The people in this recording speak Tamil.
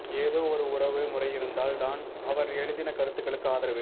ஏதொ ஒரு உறவு முறை இருந்தால் தான் அவர் எழுதின கருத்துகளுக்கு ஆதரவு